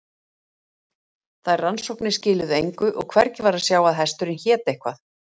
Þær rannsóknir skiluðu engu og hvergi var að sjá að hesturinn héti eitthvað.